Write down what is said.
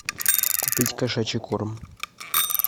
купить кошачий корм